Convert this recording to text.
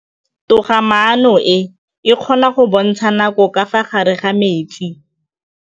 Toga-maanô e, e kgona go bontsha nakô ka fa gare ga metsi.